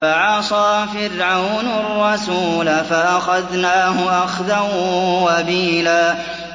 فَعَصَىٰ فِرْعَوْنُ الرَّسُولَ فَأَخَذْنَاهُ أَخْذًا وَبِيلًا